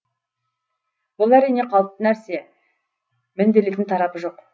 бұл әрине қалыпты нәрсе мінделетін тарапы жоқ